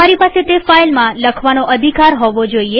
તમારી પાસે તે ફાઈલમાં લખવાનો અધિકાર હોવો જોઈએ